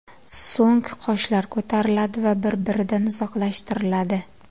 So‘ng qoshlar ko‘tariladi va bir - biridan uzoqlashtiriladi.